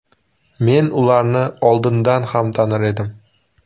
Men ularni oldindan ham tanir edim.